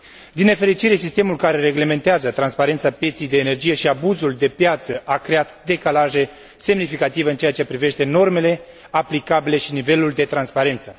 Din nefericire, sistemul care reglementează transparența pieței energiei și abuzul de piață a creat decalaje semnificative în ceea ce privește normele aplicabile și nivelul de transparență.